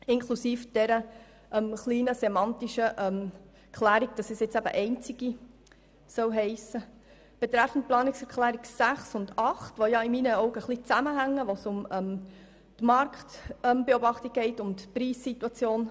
Die Planungserklärungen 6 und 8 hängen zusammen, dort geht es um die Marktbeobachtung und die Preissituation.